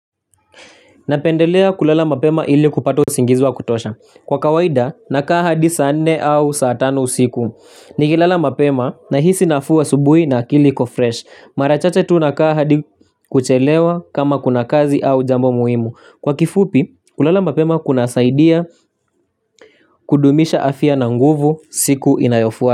Napendelea kulala mapema ili kupata usingiziwa kutosha. Kwa kawaida naka hadisaanne au saatano usiku. Nikilala mapema nahisi nafuu asubuhi na akiliiko fresh. Marachache tunakaa hadikuchelewa kama kuna kazi au jambo muhimu. Kwa kifupi kulala mapema kuna saidia kudumisha afya na nguvu siku inayofuata.